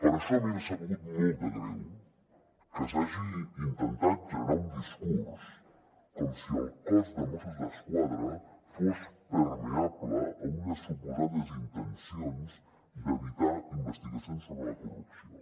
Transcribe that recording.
per això a mi m’ha sabut molt de greu que s’hagi intentat generar un discurs com si el cos de mossos d’esquadra fos permeable a unes suposades intencions d’evitar investigacions sobre la corrupció